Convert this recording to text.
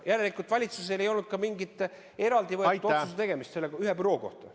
Järelikult valitsusel ei olnud ka mingit eraldi võetud otsuse tegemist ühe büroo kohta.